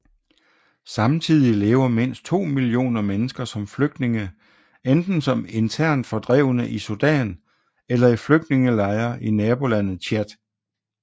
Samtidig lever mindst 2 millioner mennesker som flygtninge enten som internt fordrevne i Sudan eller i flygtningelejre i nabolandet Tchad